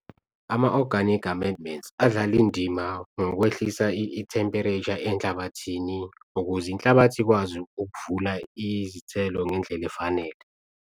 Ama-organic amendments adlala indima ngokwehlisa i-temperature enhlabathini ukuze inhlabathi ikwazi ukuvula izithelo ngendlela efanele.